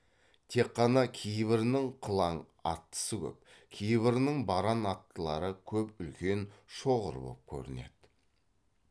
тек қана кейбірінің қылаң аттысы көп кейбірінің баран аттылары көп үлкен шоғыр боп көрінеді